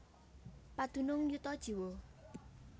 Padunung yuta jiwa